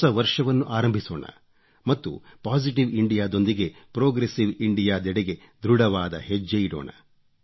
ಹೊಸ ವರ್ಷವನ್ನು ಆರಂಭಿಸೋಣ ಮತ್ತು ಪೊಸಿಟಿವ್ ಇಂಡಿಯಾ ದೊಂದಿಗೆ ಪ್ರೊಗ್ರೆಸಿವ್ ಇಂಡಿಯಾ ದಡೆಗೆ ಧೃಡವಾದ ಹೆಜ್ಜೆ ಇಡೋಣ